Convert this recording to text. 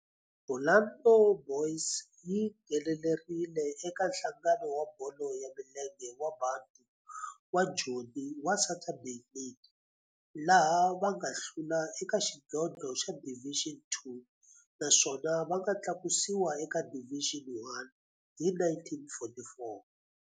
Orlando Boys yi nghenelerile eka Nhlangano wa Bolo ya Milenge wa Bantu wa Joni wa Saturday League, laha va nga hlula eka xidlodlo xa Division Two naswona va nga tlakusiwa eka Division One hi 1944.